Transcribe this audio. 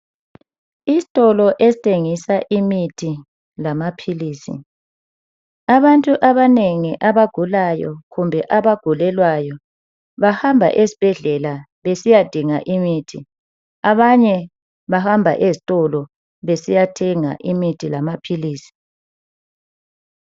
Isitolo esithengisa imithi lamaphilisi abantu abanengi abagulayo kumbe abagulelwayo bahamba esibhedlela besiyadinga imithi abanye bahamba ezitolo besiyathenga imithi lamaphilisi.